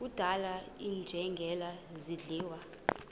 kudlala iinjengele zidliwa